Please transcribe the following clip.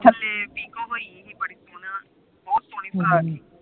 ਥਲੇ ਪੀਕੋ ਪਈ ਸਹੀ ਬੜੀ ਸੋਹਣੀ, ਬੜੀ ਸੋਹਣੀ ਫਰਾਕ ਸੀ